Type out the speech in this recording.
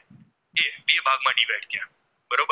તો અહીંયા